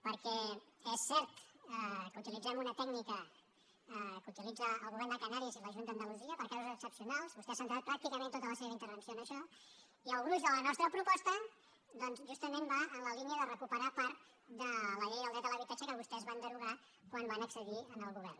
perquè és cert que utilitzem una tècnica que utilitzen el govern de ca·nàries i la junta d’andalusia per a casos excepcionals vostè ha centrat pràcticament tota la seva intervenció en això i el gruix de la nostra proposta doncs justa·ment va en la línia de recuperar part de la llei del dret a l’habitatge que vostès van derogar quan van accedir al govern